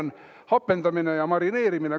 Edasi, siin on "Hapendamine ja marineerimine.